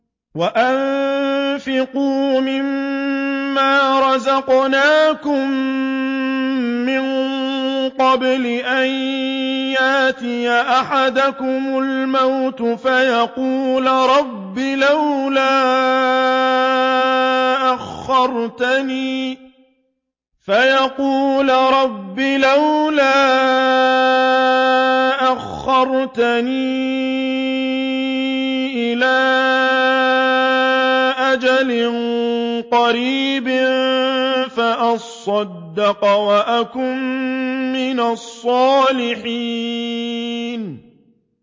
وَأَنفِقُوا مِن مَّا رَزَقْنَاكُم مِّن قَبْلِ أَن يَأْتِيَ أَحَدَكُمُ الْمَوْتُ فَيَقُولَ رَبِّ لَوْلَا أَخَّرْتَنِي إِلَىٰ أَجَلٍ قَرِيبٍ فَأَصَّدَّقَ وَأَكُن مِّنَ الصَّالِحِينَ